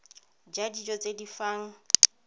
ja dijo tse di fang